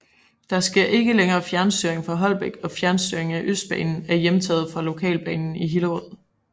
Der sker ikke længere fjernstyring fra Holbæk og fjernstyring af Østbanen er hjemtaget fra Lokalbanen i Hillerød